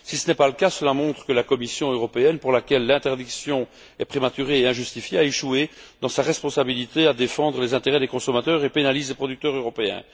Si tel n'est pas le cas, cela montre que la Commission européenne, pour laquelle l'interdiction est prématurée et injustifiée, a échoué dans sa responsabilité à défendre les intérêts des consommateurs et pénalise les producteurs européens.